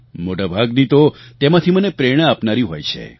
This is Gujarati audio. મોટા ભાગની તો તેમાંથી મને પ્રેરણા આપનારી હોય છે